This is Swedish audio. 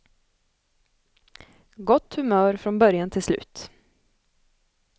Gott humör från början till slut.